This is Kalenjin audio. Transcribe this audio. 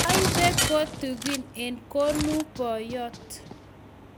Aibe kotingun eng konung ' poyot